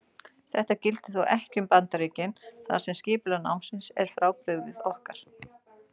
Þetta gildir þó ekki um Bandaríkin þar sem skipulag námsins er frábrugðið okkar.